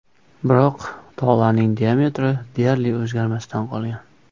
Biroq tolaning diametri deyarli o‘zgarmasdan qolgan.